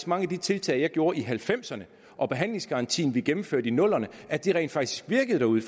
mange af de tiltag jeg gjorde i nitten halvfemserne og behandlingsgarantien vi gennemførte i nullerne rent faktisk virkede derude